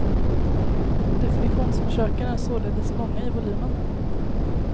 Definitionsförsöken är således många i volymen.